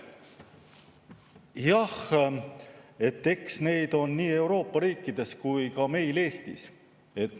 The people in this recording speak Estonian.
Jah, eks neid on nii Euroopa riikides kui ka meil Eestis.